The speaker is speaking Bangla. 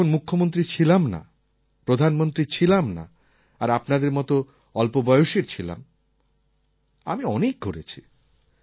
যখন মুখ্যমন্ত্রী ছিলাম না প্রধানমন্ত্রী ছিলাম না আর আপনাদের মত অল্প বয়সের ছিলাম আমি অনেক ঘুরেছি